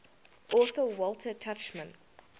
author walter tuchman